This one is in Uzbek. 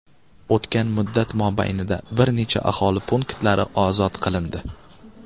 O‘tgan muddat mobaynida bir necha aholi punktlari ozod qilindi.